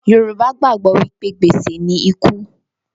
Yorùbá gbàgbọ́ wí pé, gbèsè ni ikú